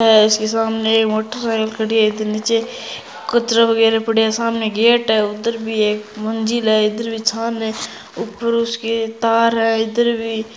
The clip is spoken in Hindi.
उसके सामने मोटरसाइकिल खड़ी हैइधर नीचे कचरा वगेराह पड़े हैं सामने गेट हैउधर भी एक मंजिल है इधर भी छान है ऊपर उसके तार हैं इधर भी --